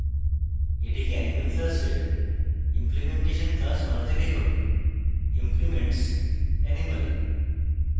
এটিকে animal class implementation class বানাতে লিখুন: implements animal